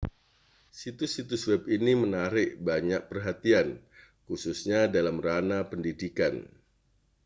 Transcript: situs-situs web ini menarik banyak perhatian khususnya dalam ranah pendidikan